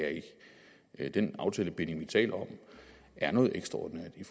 jeg ikke den aftalebinding vi taler om er noget ekstraordinært i